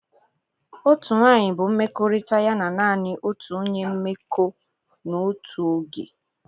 Otu nwanyị bụ mmekọrịta ya na naanị otu onye mmekọ n'otu oge.